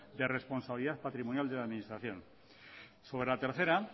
de responsabilidad patrimonial de la administración sobre la tercera